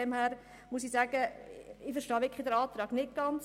Deshalb verstehe ich den Antrag nicht ganz.